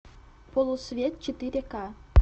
полусвет четыре ка